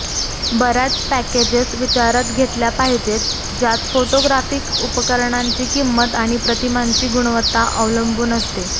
बर्याच पॅकेजेस विचारात घेतल्या पाहिजेत ज्यात फोटोग्राफिक उपकरणांची किंमत आणि प्रतिमांची गुणवत्ता अवलंबून असते